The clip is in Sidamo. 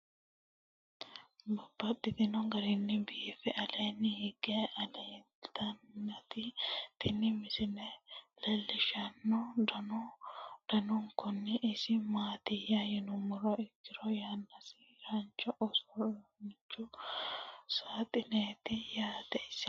Babaxxittinno garinni biiffe aleenni hige leelittannotti tinni misile lelishshanori danu danunkunni isi maattiya yinummoha ikkiro yanaasincho uurinshu saaxineti yatte ise.